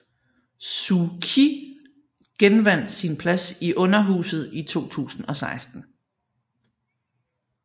Suu Kyi genvandt sin plads i underhuset i 2016